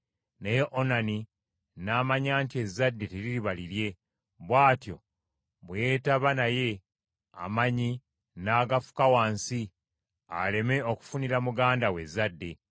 Naye Onani n’amanya nti ezzadde teririba lirye; bw’atyo bwe yeetaba naye, amannyi n’agafuka wansi aleme okufunira muganda we ezzadde.